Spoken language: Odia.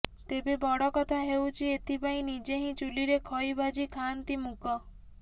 ତେବେ ବଡ କଥା ହେଉଛି ଏଥି ପାଇଁ ନିଜେ ହିଁ ଚୁଲିରେ ଖଇ ଭାଜି ଖାଆନ୍ତି ମୁକ